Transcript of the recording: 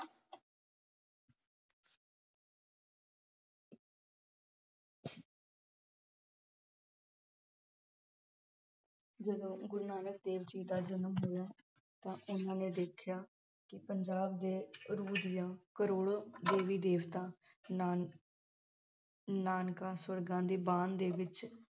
ਜਦੋਂ ਗੁਰੂ ਨਾਨਕ ਦੇਵ ਜੀ ਦਾ ਜਨਮ ਹੋਇਆ ਤਾਂ ਉਨ੍ਹਾਂ ਨੇ ਦੇਖਿਆ ਕਿ ਪੰਜਾਬ ਦੇ ਰੂਹ ਦੀਆਂ ਕਰੋੜਾਂ ਦੇਵੀ ਦੇਵਤਾ ਨਾਨਕਾ ਸਵਰਗਾਂ ਦੇ ਵਿਚ